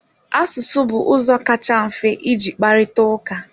Asụsụ bụ ụzọ kacha mfe iji kparịta ụka.